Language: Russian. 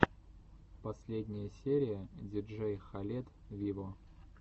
последняя серия диджей халед виво